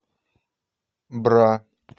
бра